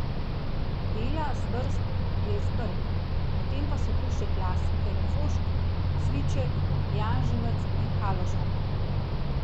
Bela zvrst je iz Brd, potem pa so tu še klasike refošk, cviček, janževec in haložan.